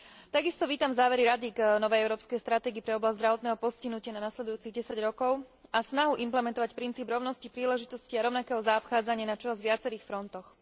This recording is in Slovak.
Takisto vítam závery Rady k novej európskej stratégii pre oblasť zdravotného postihnutia na nasledujúcich desať rokov a snahu implementovať princíp rovnosti príležitostí a rovnakého zaobchádzania na čoraz viacerých frontoch.